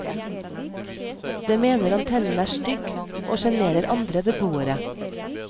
Det mener antennen er stygg, og sjenerer andre beboere.